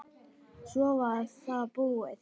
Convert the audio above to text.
Svo var það búið.